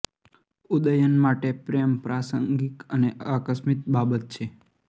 ઉદયન માટે પ્રેમ પ્રાસંગિક અને આકસ્મિક બાબત છે